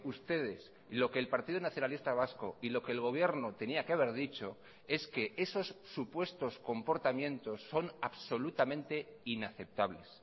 ustedes lo que el partido nacionalista vasco y lo que el gobierno tenía que haber dicho es que esos supuestos comportamientos son absolutamente inaceptables